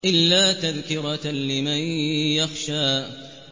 إِلَّا تَذْكِرَةً لِّمَن يَخْشَىٰ